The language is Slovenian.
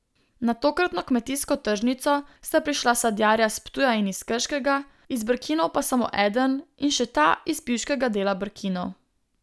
Na tokratno Kmetijsko tržnico sta prišla sadjarja s Ptuja in iz Krškega, iz Brkinov pa samo eden, in še ta iz pivškega dela Brkinov.